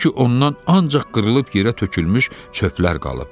Gördü ki, ondan ancaq qırılıb yerə tökülmüş çöplər qalıb.